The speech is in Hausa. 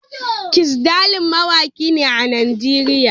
Kizz daniel mawaki ne a Najeriya.